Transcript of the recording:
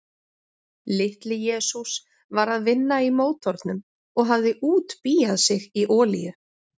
Litli-Jesús var að vinna í mótornum og hafði útbíað sig í olíu.